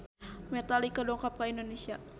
Metallica dongkap ka Indonesia